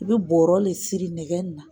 I bɛ borɔ de siri nɛgɛ in na